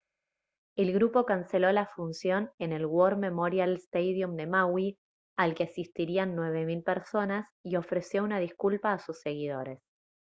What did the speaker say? el grupo canceló la función en el war memorial stadium de maui al que asistirían 9000 personas y ofreció una disculpa a sus seguidores